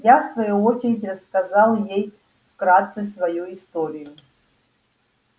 я в свою очередь рассказал ей вкратце свою историю